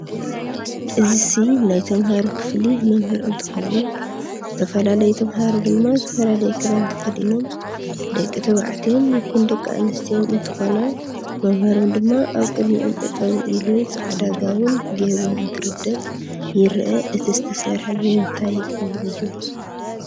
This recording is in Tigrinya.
እዘሲ ናይ ተመመሃሩ ክፍሊ መምህር እንትከውን ዝትፈላላዩ ተማሃሩ ድማ ዝፈላላዩ ክዳን ተክዲኖም ድቂ ተበዕትዮን ይኩን ደቂ ኣንዝትዮ እንትኮና መምህሮም ድማ ኣብ ቅድምኦም ጠጠው እሉ ፃዕዳ ጋዊን ገይሩ እትርድእ ይረእ እቲ ዝተሰርሕ ብምንታይ ኦም እዩ?